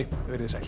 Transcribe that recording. verið þið sæl